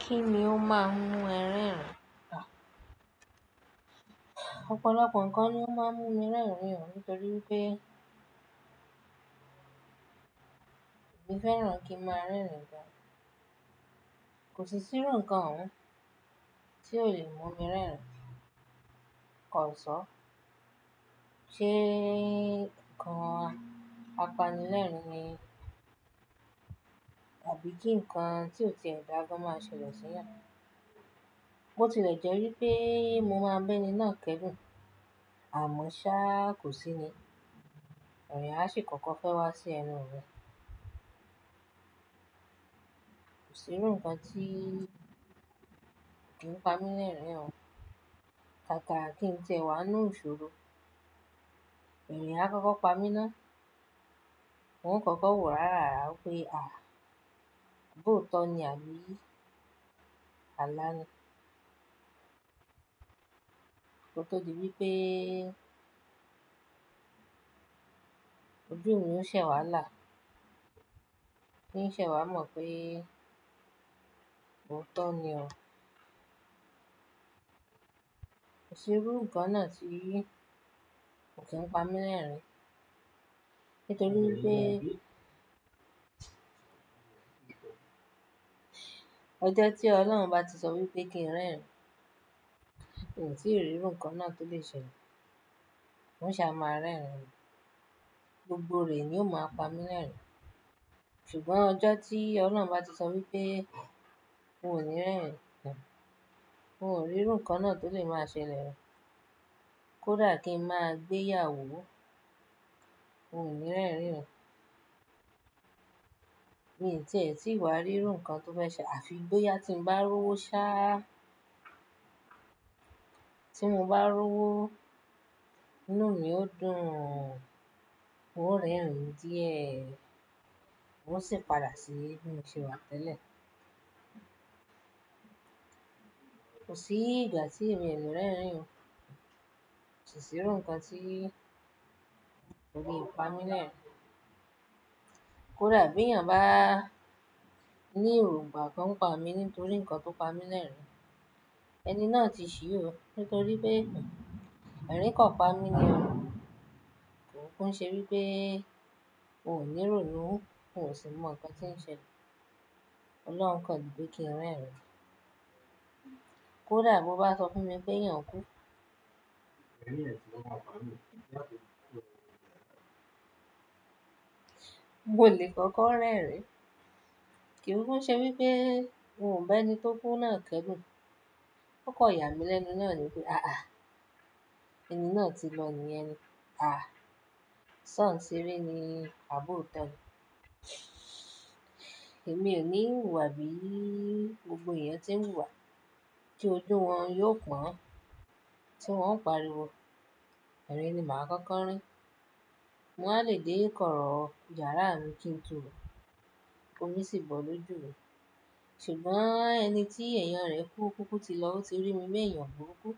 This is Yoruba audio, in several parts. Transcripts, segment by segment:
Kí ni ó máa ń mú ẹ rẹ́rìn-ín? Ọ̀pọ̀lọpọ̀ nǹkan lo ó máa ń mú mi rẹ́rìn-ín, nítorí wipé èmi fẹ́ràn kí ń máa rẹ́rìn-ín gan. Kò sí sírú nǹkan oun tí ó lè mú mi rẹ́rìn-ín kọ̀ ọ́ sọ. Ṣé nǹkan apanilẹ́rìn-ín ni? Àbí kí nǹkan tí ò ti ẹ̀ dágbà máa ṣẹlẹ̀ síyan? Bo ti lẹ̀ jẹ́ wípé mo máa ń bẹ́ni náà kẹ́dùn, àmọ́ sá kò sí ni. Ẹ̀rin àṣì kòko fẹ́ wá sí ẹnu mi. Kò sírú nǹkan tí ki ń pa mí ní ẹ̀rín ọ̀. Kàkà kí n ti ẹ wà nú ìṣòro, ẹ̀rin á kọ́kọ́ pa mí ná. N ó kọ́kọ́ wò ó rárára wípé, "À! Abọ́ ọ̀tọ̀ ni àbí alá ni?" ko tó díbí wipé ojú mi o ṣe wà láà. Ní ṣẹ̀ wá mo mọ̀ pé ootọ̀ ni ọ́. Kò sírú nǹkan náà tí ko ki ń pa mí lẹ́rìn-ín, nítorí pé ọjọ́ tí Ọlọ́run bá ti sọ wípé kí n rẹ́rìn-ín, mi ò tí rí rú nǹkan náà tó lè ṣe lọ. Òun ṣà máa rẹ́rìn-ín mi. Gbogbo re ni ó máa ń pa mí lẹ́rìn-ín. Ṣùgbọ́n ọjọ́ tí Ọlọ́run bá ti sọ wípé n ò ní rẹ́rìn-ín, n ò rí rú nǹkan náà tó lè máa ṣẹlẹ̀ rẹ́. Kódà kí n máa gbéyà wò ó, n ò ní rẹ́rìn-ín o. Ti e tí wa rírú nǹkan tó fẹ́ ṣẹ àfi boyà tí n bá rowó sá. Tí mo bá rowó, inú mi ó dùn, n n ò rẹ́rìn-ín díẹ̀, n ó sì padà sí bí mo ṣe wà tẹ́lẹ̀. Kò sí ìgbà tí èmi ò le rẹ́rìn-ín. Kò sí rú nǹkan tí kò lè pa mí lẹ́rìn-ín. Kódà b'eèyàn bá ní èròǹgbà kan pa mí nítorí nǹkan tó pa mí lẹ́rìn-ín, ẹni náà ti ṣì ó, nítorí pé ẹ̀ríǹ kan pa mí ni ọ̀. Kò kún ṣe wípé ò ní rònu, n ò sì mọ nǹkan tí ń ṣẹlẹ̀. Ọlọ́run kọ nipe kí n rẹ́rìn-ín. Kódà bó bá sọ fún mi pé èèyàn kú, mo lè kọ́kọ́ rẹ́rìn-ín. Kì í kúku ṣe wípé n ò bẹni tó kú náà kẹ́dùn. Ó kọ yà mí lẹ́nu náà ni pé, "Àá! Ẹni náà ti lọ níyẹni. À! Ṣán sere ni abọ̀ọ̀tọ̀ ni." Èmi ò níwùwà bí gbogbo èèyàn tí ń wùwà tí ojú wọn yóò pọ́n tí wọ́n ó pariwo. Ẹ̀rin ni màá kọ́kọ́ rín. Mo wá lè dé ìkọ̀rọ̀ yàrá mi kí n túru, komi sì bọ̀ lójú mi. Ṣùgbọ́n ẹni tí èèyàn rẹ̀ kú, kúkú ti lọ, ó ti rí mi b'èèyàn buru kú.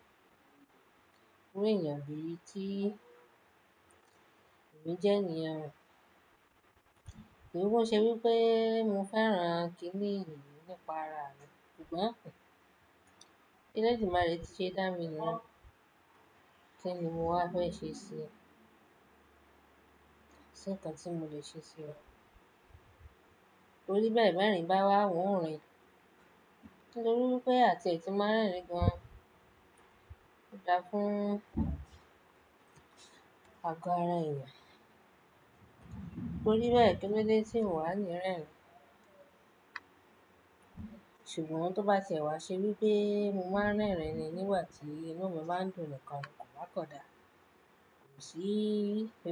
Kú ní èèyàn bí i tí èmi jẹ́ niyen ọ̀. Kò kuku ṣe wípé mo fẹ́ran kíniyi nípa ara mi, ṣùgbọ́n k'eledumare tí ṣe dá mi ni yun. Kí ni mo wá fẹ́ ṣe ṣi? Tí nǹkan tí mo lè ṣe sí o? Torí bẹ́ẹ̀ bẹ̀rìn bá wá wu n rìn, nítorí pé àti è tí màá rẹ́rìn-ín gan. Ó dá fún àgọ́ ara ẹ̀yàn. Torí bẹ́ẹ̀ kìlode tí n wà le rẹ́rìn-ín. Ṣùgbọ́n tó bá ti ẹ̀ wá ṣe wípé mo máa ń rẹ́rìn-ín nígbà tí inú mi bá ń dùn nikan kọ̀ ba ko dá, kò sí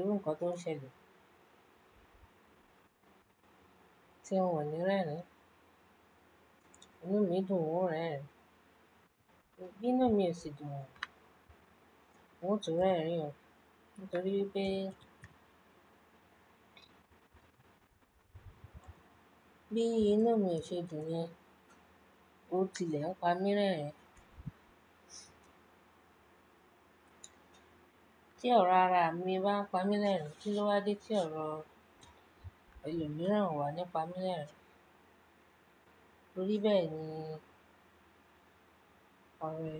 rú nǹkan tó ń ṣẹlẹ̀ tí n ò ní rẹ́rìn-ín. Inú mi dùn, n ò rẹ́rìn-ín. Bí inú mi ò ṣe dùn yen, ó ti lè ń pa mí lẹ́rìn-ín. Tí ọ̀rọ̀ ara mi bá ń pa mí lẹ́rìn-ín, kí ló wá dé tí ọ̀rọ̀ ẹlọ̀ mìíràn wà nípa mi lẹ́rìn-ín? Tori bee ni Torí bẹ́ẹ̀ ni ẹ̀rù.